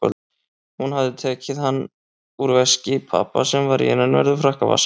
Hún hafði tekið hann úr veski pabba sem var í innanverðum frakkavasanum.